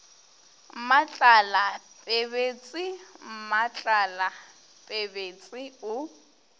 mmatlala pebetse mmatlala pebetse o